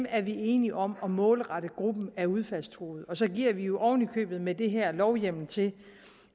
er vi enige om at målrette gruppen af udfaldstruede og så giver vi jo oven i købet med det her lovhjemmel til